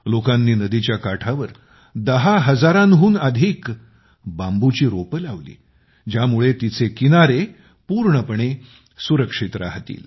लोकांनी नदीच्या काठावर 10 हजारांहून अधिक बांबूची रोपे लावली ज्यामुळे तिचे किनारे पूर्णपणे सुरक्षित राहतील